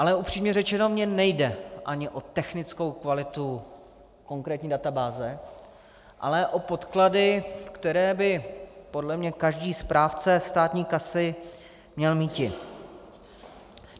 Ale upřímně řečeno, mně nejde ani o technickou kvalitu konkrétní databáze, ale o podklady, které by podle mě každý správce státní kasy měl mít.